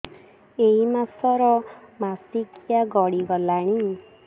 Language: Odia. ଏଇ ମାସ ର ମାସିକିଆ ଗଡି ଗଲାଣି